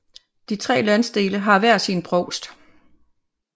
De tre landsdele har hver sin provst